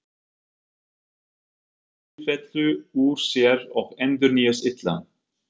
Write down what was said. Gervið gengur í sífellu úr sér og endurnýjast illa.